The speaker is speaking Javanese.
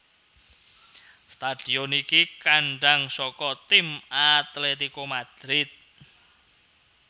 Stadion iki kandhang saka tim Atletico Madrid